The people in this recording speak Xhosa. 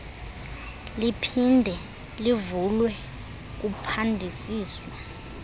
liphinde livulwe kuphandisiswe